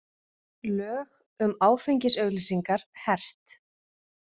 Lög um áfengisauglýsingar hert